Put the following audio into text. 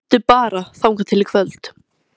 Bíddu bara þangað til í kvöld